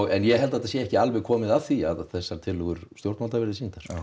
ég held það sé ekki alveg komið að því að þessar tillögur stjórnvalda verði sýndar